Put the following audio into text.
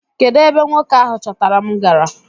Kedụ ebe nwoke ahụ chọtara m gara?